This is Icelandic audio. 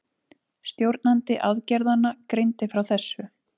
Stjórnandi aðgerðanna greindi frá þessu